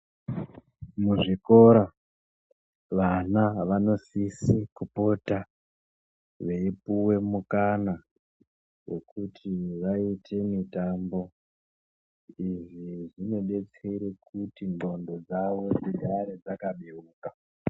Muzvikora vana vanosise kupota, veipuwe mukana wokuti vaite mitambo. Izvi zvinodetsera kuti ndxondo dzavo dzigare dzakabeuka.